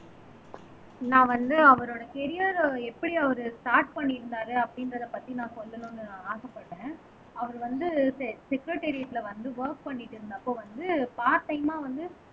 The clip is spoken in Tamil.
நான் வந்து அவரோட கரியர எப்படி அவரு ஸ்டார்ட் பண்ணியிருந்தாரு அப்படின்றதைப் பத்தி, நான் சொல்லணும்ன்னு ஆசைப்படரே அவர் வந்து செ செக்கரடறியேட்ல வந்து வொர்க் பண்ணிட்டு இருந்தப்ப வந்து பார்ட் டைமா வந்து